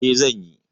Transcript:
E, zan yi.